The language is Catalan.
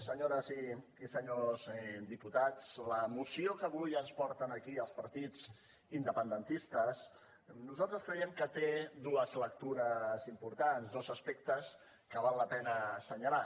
senyores i senyors diputats la moció que avui ens porten aquí els partits independentistes nosaltres creiem que té dues lectures importants dos aspectes que val la pena assenyalar